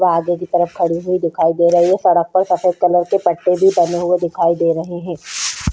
वो आगे की तरफ खड़ी हुई दिखाई दे रही है सड़क पर सेफद कलर के पट्टे भी बने हुए दिखाई दे रहा हैं।